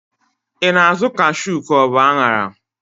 I na-azụ kashu ka ọ bu aṅara?